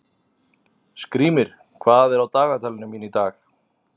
Skrýmir, hvað er á dagatalinu mínu í dag?